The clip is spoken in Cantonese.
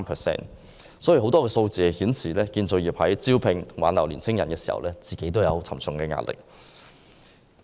這些數字顯示，建造業在招聘和挽留年輕工人時面對沉重壓力。